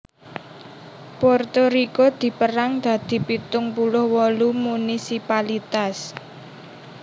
Puerto Riko dipérang dadi pitung puluh wolu munisipalitas